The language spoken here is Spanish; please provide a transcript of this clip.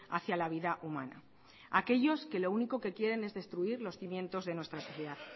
hacia la vida humana aquellos que lo único que quieren es destruir los cimientos de nuestra sociedad